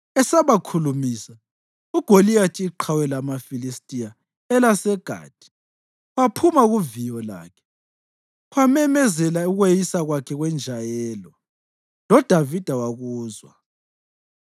Esabakhulumisa, uGoliyathi, iqhawe lamaFilistiya elaseGathi, waphuma kuviyo lakhe, wamemezela ukweyisa kwakhe kwenjayelo, loDavida wakuzwa.